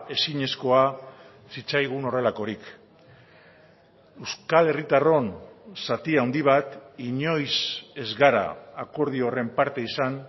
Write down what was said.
ezinezkoa zitzaigun horrelakorik euskal herritarron zati handi bat inoiz ez gara akordio horren parte izan